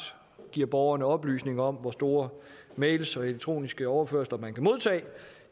giver borgerne oplysninger om hvor store mails og elektroniske overførsler man kan modtage